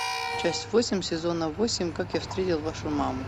часть восемь сезона восемь как я встретил вашу маму